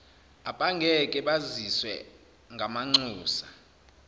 abangeke basizwe ngamanxusa